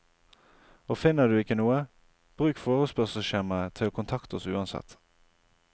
Og finner du ikke noe, bruk forespørselsskjemaet til å kontakte oss uansett.